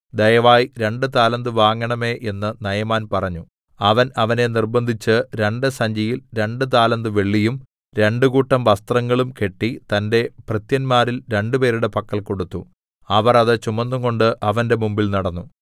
ദയവായി രണ്ടു താലന്ത് വാങ്ങണമേ എന്ന് നയമാൻ പറഞ്ഞു അവൻ അവനെ നിർബ്ബന്ധിച്ച് രണ്ട് സഞ്ചിയിൽ രണ്ടു താലന്ത് വെള്ളിയും രണ്ടുകൂട്ടം വസ്ത്രങ്ങളും കെട്ടി തന്റെ ഭൃത്യന്മാരിൽ രണ്ടുപേരുടെ പക്കൽ കൊടുത്തു അവർ അത് ചുമന്നുകൊണ്ട് അവന്റെ മുമ്പിൽ നടന്നു